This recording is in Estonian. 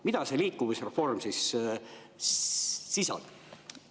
Mida see liikuvusreform siis sisaldab?